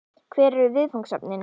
Hver eru viðfangsefnin?